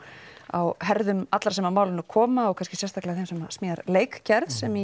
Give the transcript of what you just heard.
á herðum allra sem að málinu koma og þá kannski sérstaklega þeirra sem smíða leikgerð sem